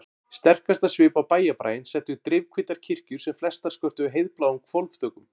Sterkastan svip á bæjarbraginn settu drifhvítar kirkjur sem flestar skörtuðu heiðbláum hvolfþökum.